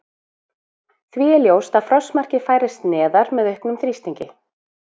Því er ljóst að frostmarkið færist neðar með auknum þrýstingi.